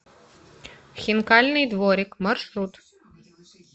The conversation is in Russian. хинкальный дворик маршрут